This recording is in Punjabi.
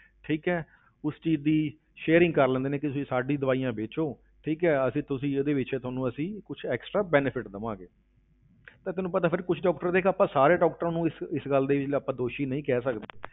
ਠੀਕ ਹੈ ਉਸ ਚੀਜ਼ ਦੀ sharing ਕਰ ਲੈਂਦੇ ਨੇ ਕਿ ਤੁਸੀਂ ਸਾਡੀ ਦਵਾਈਆਂ ਵੇਚੋ, ਠੀਕ ਹੈ, ਅਸੀਂ ਤੁਸੀਂ ਇਹਦੇ ਵਿੱਚ ਥੋਨੂੰ ਅਸੀਂ ਕੁਛ extra benefit ਦੇਵਾਂਗੇ ਤਾਂ ਤੈਨੂੰ ਪਤਾ ਫਿਰ ਕੁਛ doctor ਦੇਖ ਆਪਾਂ ਸਾਰੇ doctors ਨੂੰ ਇਸ ਇਸ ਗੱਲ ਦੇ ਲਈ ਆਪਾਂ ਦੋਸ਼ੀ ਨਹੀਂ ਕਹਿ ਸਕਦੇ